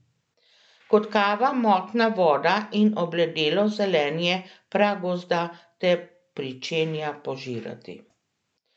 Kot kava motna voda in obledelo zelenje pragozda te pričenja požirati.